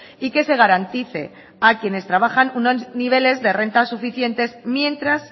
y que se garantice a quienes trabajan unos niveles de renta suficientes mientras